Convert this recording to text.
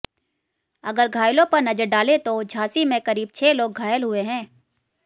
अगर घायलों पर नजर डालें तो झांसी में करीब छह लोग घायल हुए हैं